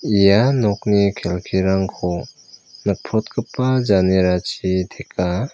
ia nokni kelkirangko nikprotgipa janerachi teka.